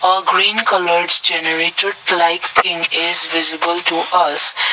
a green colour generator like in is visible to us.